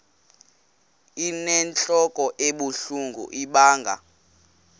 inentlok ebuhlungu ibanga